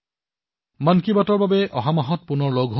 মন কী বাতৰ বাবে পুনৰ অহা মাহত মিলিত হম